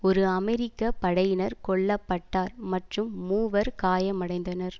ஒரு அமெரிக்க படையினர் கொல்ல பட்டார் மற்றும் மூவர் காயமடைந்தனர்